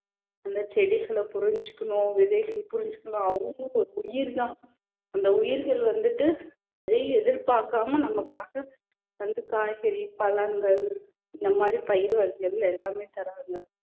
அந்த செடிகளை புரிஞ்சுக்கணும் விதைகள் புரிஞ்சுக்கணும் அவங்களும் ஒரு உயிர்தான் அந்த உயிர்கள் வந்துட்டு எதையும் எதிர் பார்க்காம நமக்காக வந்து காய்கறி பழங்கள் இந்த மாதிரி பயிர் வகைகள் எல்லாமே தர்றாங்க